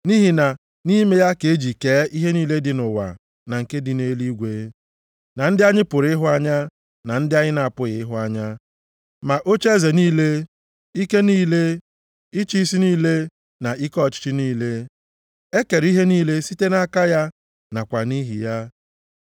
Nʼihi na nʼime ya ka e ji kee ihe niile dị nʼụwa na nke dị nʼeluigwe, na ndị anyị pụrụ ịhụ anya na ndị anyị na-apụghị ịhụ anya, ma ocheeze niile, ike niile, ịchị isi niile na ike ọchịchị niile. E kere ihe niile site nʼaka ya nakwa nʼihi ya.